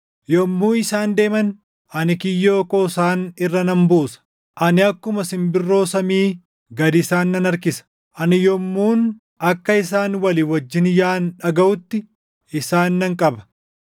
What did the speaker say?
Yommuu isaan deeman ani kiyyoo koo isaan irra nan buusa; ani akkuma simbirroo samii gad isaan nan harkisa. Ani yommuun akka isaan walii wajjin yaaʼan dhagaʼutti, isaan nan qaba.